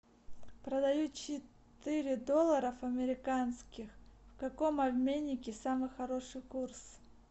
продаю четыре долларов американских в каком обменнике самый хороший курс